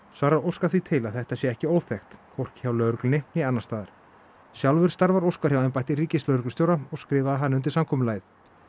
svarar Óskar því til að þetta sé ekki óþekkt hvorki hjá lögreglunni né annars staðar sjálfur starfar Óskar hjá embætti ríkislögreglustjóra og skrifaði hann undir samkomulagið